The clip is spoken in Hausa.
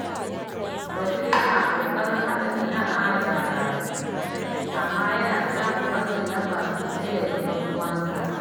Bashir yana ƙoƙarin haɗa sana’a da karatu, amma yana samun matsin lamba sosai daga ƴan'uwansa.